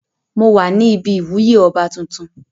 Mo wà ní ibi ìwúyè oba tuntun.